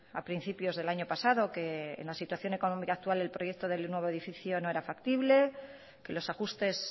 a principios del año pasado que en la situación económica actual el proyecto del nuevo edificio no era factible que los ajustes